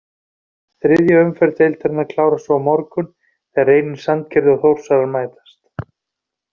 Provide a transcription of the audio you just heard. Þriðja umferð deildarinnar klárast svo á morgun þegar Reynir Sandgerði og Þórsarar mætast.